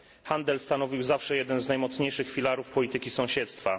Handel stanowił zawsze jeden z najmocniejszych filarów polityki sąsiedztwa.